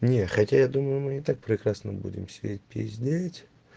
не хотя я думаю мы и так прекрасно будем сидеть пиздеть